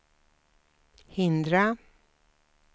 hindra